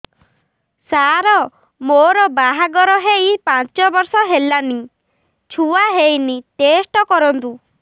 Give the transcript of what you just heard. ସାର ମୋର ବାହାଘର ହେଇ ପାଞ୍ଚ ବର୍ଷ ହେଲାନି ଛୁଆ ହେଇନି ଟେଷ୍ଟ କରନ୍ତୁ